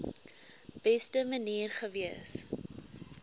beste manier gewees